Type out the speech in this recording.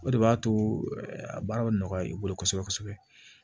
O de b'a to a baara bɛ nɔgɔya i bolo kosɛbɛ kosɛbɛ